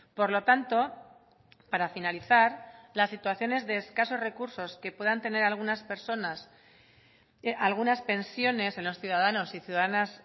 por lo tanto para finalizar las situaciones de escasos recursos que puedan tener algunas personas algunas pensiones en los ciudadanos y ciudadanas